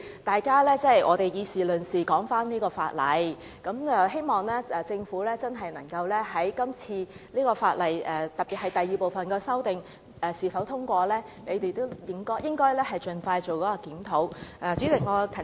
大家以事論事，繼續討論這項法例，希望條例草案在今天通過之後，不論第二部分的修正案是否獲得通過，政府也會盡快進行檢討。